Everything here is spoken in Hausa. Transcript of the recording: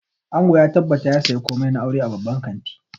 Ango ya tabbata ya saya komai na auren a babban kantin